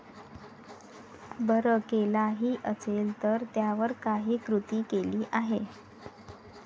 बरं केलाही असेल तर त्यावर काही कृती केली आहे?